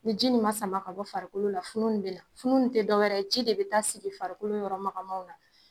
Ni ji nin ma sama ka bɔ farikolo la, funun nin bina, funun ti dɔwɛrɛ ye, ji de bi taa sigi farikolo yɔrɔ makanmaw na.